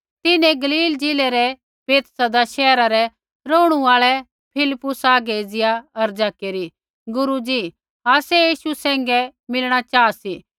तिन्हैं गलीलै ज़िलै रै बैतसैदा शैहरा रै रौहणु आल़ै फिलिप्पुसा आगै एज़िया अर्ज़ा केरी गुरू जी आसै यीशु सैंघै मीलणा चाहा सी